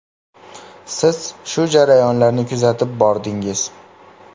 Siz shu jarayonlarni kuzatib bordingiz.